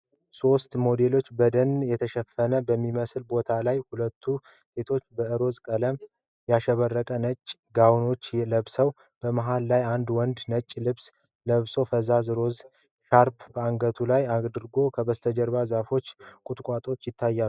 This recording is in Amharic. ሦስት ሞዴሎችን በደን የተሸፈነ በሚመስል ቦታ ላይ ። ሁለቱ ሴቶች በሮዝ ቀለም ያሸበረቁ ነጭ ጋዋኖችን ለብሰዋል። መሃል ላይ ያለው ወንድ ነጭ ልብስ ለብሶ ፈዛዛ ሮዝ ሻርፕ በአንገቱ ላይ አድርጓል። ከበስተጀርባ ዛፎችና ቁጥቋጦዎች ይታያሉ።